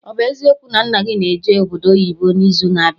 Ọ bụ eziokwu na nna gị na eje obodo oyibo n'izu na abịa?